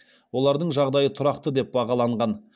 олардың жағдайы тұрақты деп бағаланған